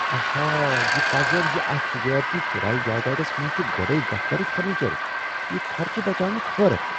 آہا! یہ پزر زِ اتھ تجٲرتی کرایہ جایدادس منٛز چُھ گۄڈٕ ے دفترٗک فرنیچر، یہِ خرچہِ بچانُك حٲرتھ۔